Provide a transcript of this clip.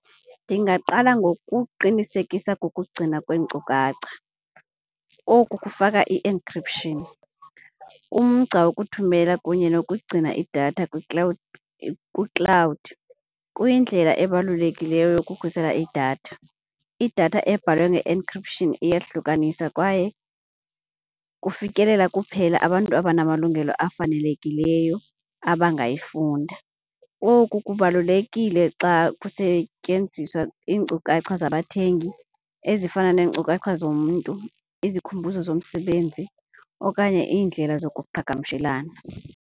Ndingaqala ngokuqinisekisa kokugcina kweenkcukacha, oku kufaka i-encryption, umgca wokuthumela kunye nokugcina idatha kwi-cloud kuyindlela ebalulekileyo yokukhusela idatha. Idatha abhalwe nge-encryption iyehlukaniswa kwaye kufikelela kuphela abantu abanamalungelo afanelekileyo abangayifunda. Oku kubalulekile xa kusetyenziswa iinkcukacha zabathengi ezifana neenkcukacha zomntu, izikhumbuzo zomsebenzi okanye iindlela zokuqhagamshelana.